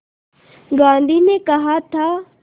गांधी ने कहा था